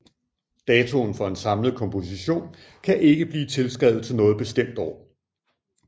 Datoen for en samlet komposition kan ikke blive tilskrevet til noget bestemt år